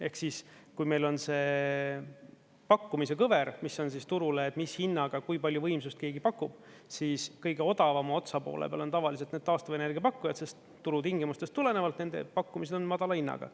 Ehk siis kui meil on see pakkumise kõver, mis on turul, mis hinnaga kui palju võimsust keegi pakub, siis kõige odavama otsa poole peal on tavaliselt need taastuvenergia pakkujad, sest turu tingimustest tulenevalt nende pakkumised on madala hinnaga.